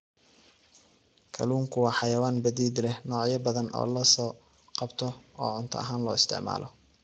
Kalluunku waa xayawaan badeed leh noocyo badan oo la soo qabto oo cunto ahaan loo isticmaalo.